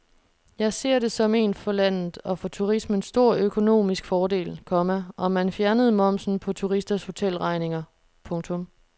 Jeg ser det som en for landet og for turismen stor økonomisk fordel, komma om man fjernede momsen på turisters hotelregninger. punktum